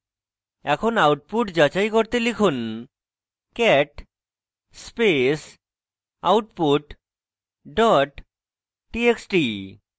এখন output যাচাই করতে লিখুন cat space output dot txt